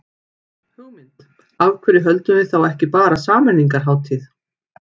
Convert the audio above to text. Hugmynd, af hverju höldum við þá ekki bara sameiningarhátíð.